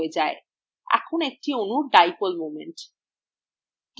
এখন অনুর dipole moment